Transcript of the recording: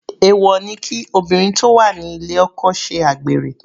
Èwọ̀ ni kí obìnrin tó wà ní ilé oko ṣe àgbèrè.